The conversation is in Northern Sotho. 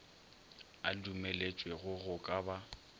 a dumelwetšego go ka ba